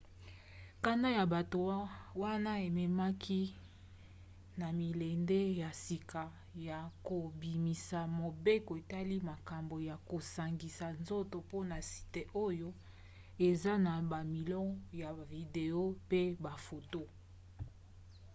kanda ya bato wana ememaki na milende ya sika ya kobimisa mobeko etali makambo ya kosangisa nzoto mpona site oyo eza na bamilo ya bavideo mpe bafoto